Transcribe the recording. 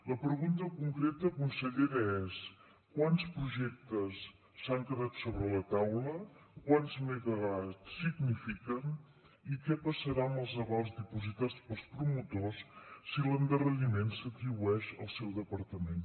la pregunta concreta consellera és quants projectes s’han quedat sobre la taula quants megawatts signifiquen i què passarà amb els avals dipositats pels promotors si l’endarreriment s’atribueix al seu departament